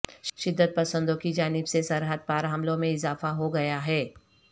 شدت پسندوں کی جانب سے سرحد پار حملوں میں اضافہ ہو گیا ہے